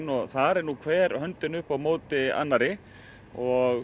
og þar er hver höndin upp á móti annarri og